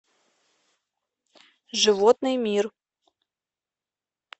животный мир